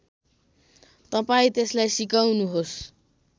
तपाईँ त्यसलाई सिकाउनुहोस्